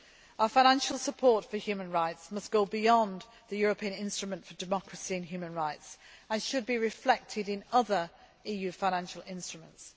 field. Our financial support for human rights must go beyond the European Instrument for Democracy and Human Rights and should be reflected in other EU financial instruments.